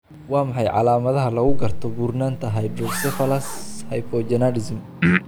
Waa maxay calaamadaha iyo calaamadaha lagu garto buurnaanta Hydrocephalus hypogonadism?